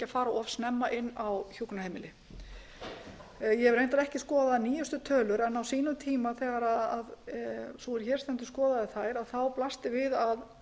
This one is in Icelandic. fara of snemma inn á hjúkrunarheimili ég hef reyndar ekki skoðað nýjustu tölur en á sínum tíma þegar sú er hér stendur skoðaði þær þá blasti við að